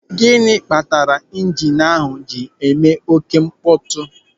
Gịnị kpatara ịjinu ahụ ji eme oké mkpọtụ?